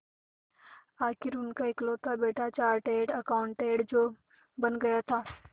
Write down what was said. आखिर उनका इकलौता बेटा चार्टेड अकाउंटेंट जो बन गया था